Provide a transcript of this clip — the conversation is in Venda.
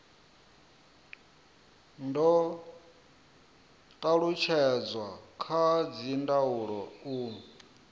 do talutshedzwa kha dzindaulo u